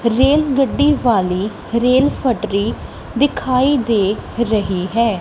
ਰੇਲਗੱਡੀ ਵਾਲੀ ਰੇਲ ਫੱਟਰੀ ਦਿਖਾਈ ਦੇ ਰਹੀ ਹੈ।